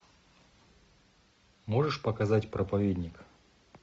можешь показать проповедник